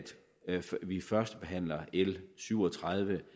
l syv og tredive